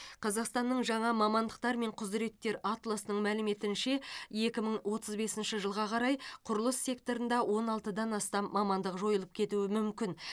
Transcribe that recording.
қазақстанның жаңа мамандықтар мен құзыреттер атласының мәліметінше екі мың отыз бесінші жылға қарай құрылыс секторында он алтыдан астам мамандық жойылып кетуі мүмкін